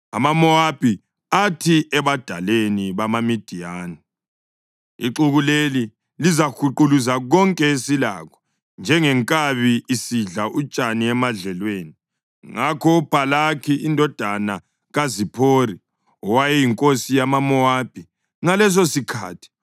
AmaMowabi athi ebadaleni bamaMidiyani, “Ixuku leli lizahuquluza konke esilakho, njengenkabi isidla utshani emadlelweni. ” Ngakho uBhalaki indodana kaZiphori, owayeyinkosi yamaMowabi ngalesosikhathi,